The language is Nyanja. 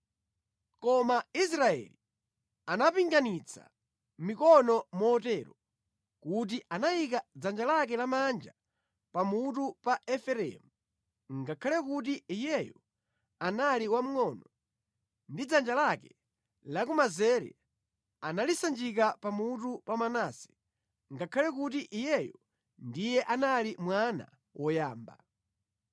Koma Israeli anapinganitsa mikono motero kuti anayika dzanja lake lamanja pamutu pa Efereimu ngakhale kuti iyeyo anali wamngʼono ndi dzanja lake lakumanzere analisanjika pamutu pa Manase ngakhale kuti iyeyu ndiye anali mwana woyamba.